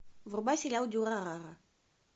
врубай сериал дюрарара